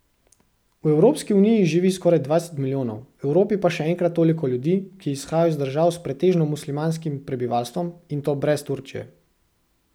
V Evropski uniji živi skoraj dvajset milijonov, v Evropi pa še enkrat toliko ljudi, ki izhajajo iz držav s pretežno muslimanskim prebivalstvom, in to brez Turčije.